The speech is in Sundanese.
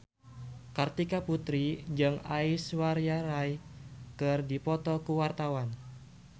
Kartika Putri jeung Aishwarya Rai keur dipoto ku wartawan